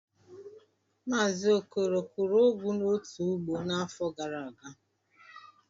Mazi okoro kụọ ugu n'otu ugbo n'afọ gara aga?